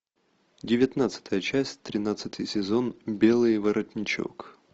девятнадцатая часть тринадцатый сезон белый воротничок